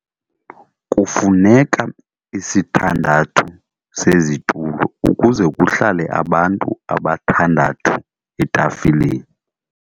Kufuneka isithandathu sezitulo ukuze kuhlale abantu abathandathu etafileni.